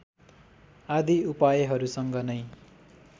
आदि उपायहरुसँग नै